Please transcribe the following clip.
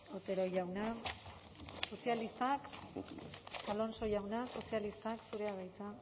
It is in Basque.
otero jauna sozialistak alonso jauna sozialistak zurea da hitza